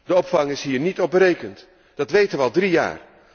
De opvang is hier niet op berekend. Dat weten wij al drie jaar.